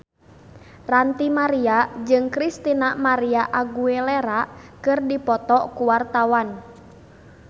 Ranty Maria jeung Christina María Aguilera keur dipoto ku wartawan